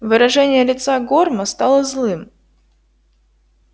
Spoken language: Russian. выражение лица горма стало злым